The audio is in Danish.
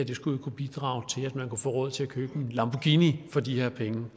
jo skulle kunne bidrage til at man kunne få råd til at købe en lamborghini for de her penge